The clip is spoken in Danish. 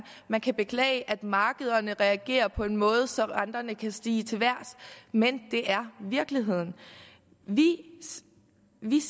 man kan beklage at markederne reagerer på en måde så renterne kan stige til vejrs men det er virkeligheden vi